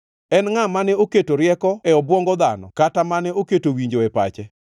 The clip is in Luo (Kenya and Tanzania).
En ngʼa mane oketo rieko e obwongo dhano kata mane oketo winjo e pache?